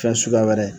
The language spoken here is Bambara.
Fɛn suguya wɛrɛ